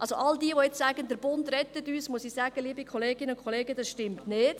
Allen, die sagen, der Bund rette uns, muss ich sagen: Liebe Kolleginnen und Kollegen, das stimmt nicht.